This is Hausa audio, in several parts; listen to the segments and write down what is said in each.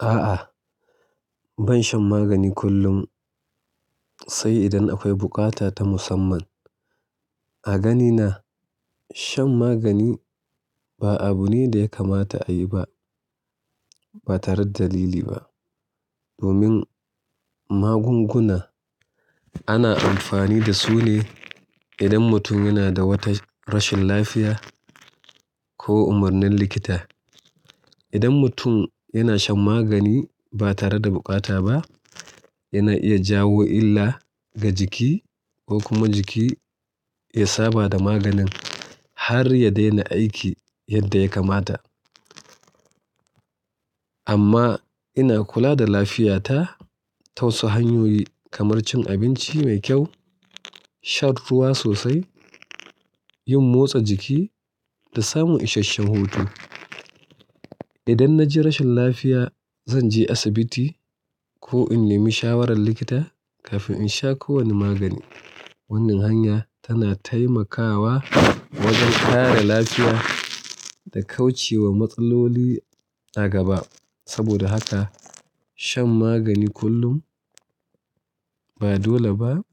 A'a, ban shan magani kullum sai idan akwai bukata ta musamman. A ganina shan magani ba abu ne da ya kamata a yi ba, ba tare da dalili ba. Domin magunguna ana amfani da su ne idan mutum yana da wata rashin lafiya ko umarnin likita. Idan mutum yana shan magani ba tare da bukata ba, yana iya jawo illa ga jiki ko kuma jiki ya saba da maganin har ya daina aiki yadda ya kamata. Amma ina kula da lafiyata ta wasu hanyoyi kamar cin abinci mai kyau, shan ruwa sosai, yin motsa jiki da samun ishasshen hutu. Idan na ji rashin lafiya, zan je asibiti ko in nemi shawarar likita kafin in sha kowane magani. Wannan hanya tana taimakawa wajen kare lafiya da kauce wa matsaloli a gaba. Saboda haka shan magani kullum ba dole ba,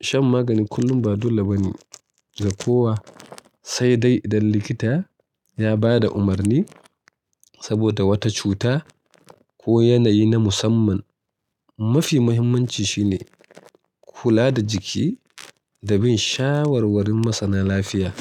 shan magani kullum ba dole ba ne ga kowa sai dai idan likita ya ba da umarni saboda wata cuta ko yanayi na musamman. Mafi muhimmanci shine kula da jiki da bin shawarwarin masana lafiya.